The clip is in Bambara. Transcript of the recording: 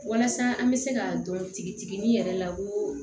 Walasa an bɛ se ka dɔn tigitigi yɛrɛ la koo